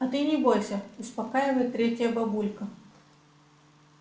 а ты не бойся успокаивает третья бабулька